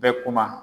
Bɛɛ kuma